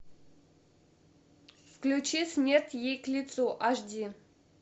включи смерть ей к лицу аш ди